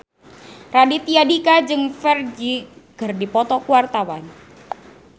Raditya Dika jeung Ferdge keur dipoto ku wartawan